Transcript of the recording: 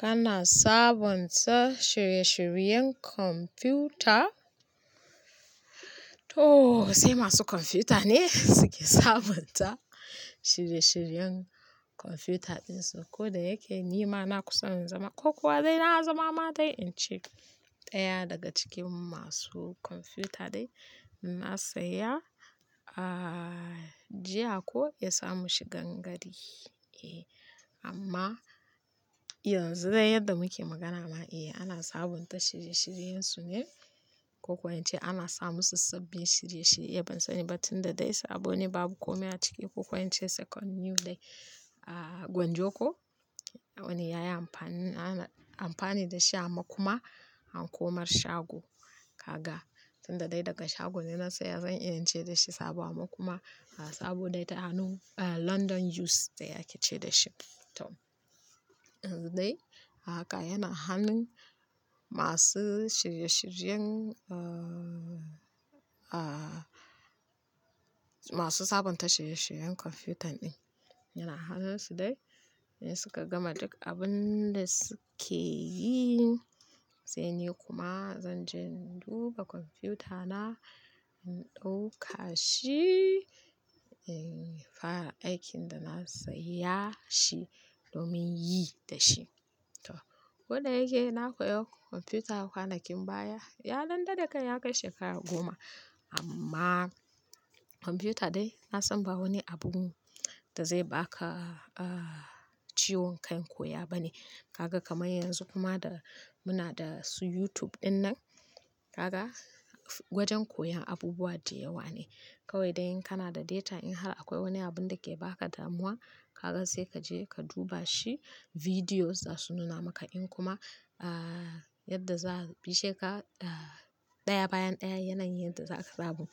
Kana sabont shiye-shiriyen kwamfuta? To sai masu kwamfuta ne suke sabonta shirye-shiryen kwamfuta ɗin su. Ko da yake ni ma na kusa in zama, ko kuwa dai na zama ma dai in ce ɗaya daga cikin masu kwamfuta dai, na saya jiya ko ya sa mu shigan gari. Eh amma yanzu dai yadda muke magana ma, eh ana sabonta shirye-shiriyensu ne ko kuwa in ce ana sa musu sabbin shirye-shirye. Ban sani ba tun da dai sabo ne babu kome a ciki ko kuwa in ce second new dai. Gwanjo ko. Wani yayi amfani, ana amfani da shi a makuma a komar shago. Kaga tun da dai daga shago dai na saya zan iya in ce da shi sabo amma kuma saboda ita a hannun-- London use dai ake ce da shi. To yanzu dai haka yana hannun masu shirye-shiriyen-- masu sabonta shirye-shiryen kwamfutan ɗin. Yana hannun su dai, in suka gama duk abin da suke yi. Sai ni kuma zan je in duba kwamfutana in ɗauka shi, in fara aikin da na saya shi domin yi da shi. To ko da yake na koya kwamfuta kwanakin baya, ya dan dade kai ya kai shekara goma. Amma kwamfuta dai na san ba wani abu da zai baka ciwon kan koya ba ne. Kaga kamar yanzu kuma da muna da su YouTube ɗin nan, kaga wajen koyon abubuwa dai yawa ne. Kawai dai in kana da data in har akwai wani abun da ke baka damuwa, kaga sai ka je ka duba shi. Videos za su nuna maka in kuma, yadda za a bice ka, ɗaya bayan ɗaya yanayin yadda za a ka samu.